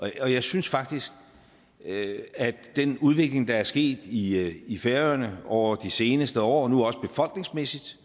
jeg synes faktisk at den udvikling der er sket i i færøerne over de seneste år nu også befolkningsmæssigt